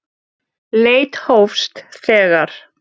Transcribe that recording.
Leit hófst þegar